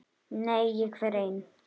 Nei, ég fer einn!